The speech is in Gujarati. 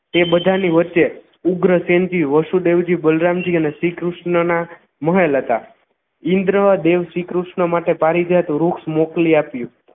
તે બધાની વચ્ચે ઉગ્રસેન્ધી વ્શુદેવજી બલરામજી અને શ્રીકૃષ્ણના મહેલ હતા ઇન્દ્ર દેવ શ્રીકૃષ્ણ માટે પારિજાત વૃક્ષ મોકલી આપ્યું